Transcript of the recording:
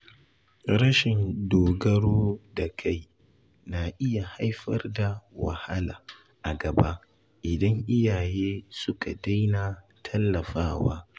Rashin dogaro da kai na iya haifar da wahala a gaba idan iyaye suka daina tallafawa